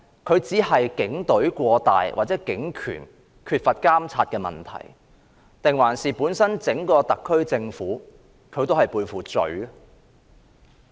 這只是警權過大、警隊缺乏監察的問題，還是整個特區政府本身也背負罪呢？